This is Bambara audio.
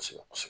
Kosɛbɛ kosɛbɛ